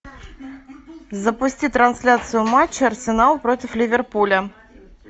запусти трансляцию матча арсенал против ливерпуля